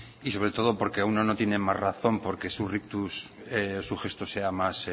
y sobre todo porque uno no tiene más razón porque su rictus su gesto sea más